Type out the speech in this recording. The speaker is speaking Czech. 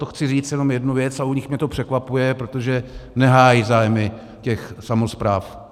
To chci říct jenom jednu věc, a u nich mě to překvapuje, protože nehájí zájmy těch samospráv.